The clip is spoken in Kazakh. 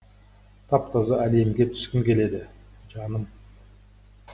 тап таза әлемге түскім келеді жаным